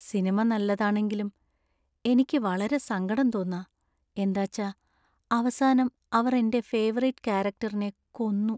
Cinema നല്ലതാണെങ്കിലും എനിക്ക് വളരെ സങ്കടം തോന്നാ, എന്താച്ച അവസാനം അവർ എന്‍റെ ഫേവറിറ്റ് കാരക്ടറിനെ കൊന്നു.